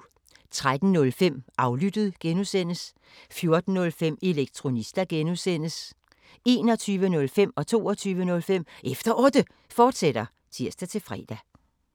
13:05: Aflyttet G) 14:05: Elektronista (G) 21:05: Efter Otte, fortsat (tir-fre) 22:05: Efter Otte, fortsat (tir-fre)